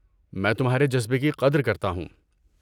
میں تمہارے جذبے کی قدر کرتا ہوں۔